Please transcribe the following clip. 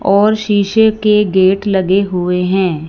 और शीशे के गेट लगे हुए हैं।